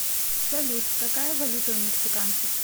салют какая валюта у мексиканцев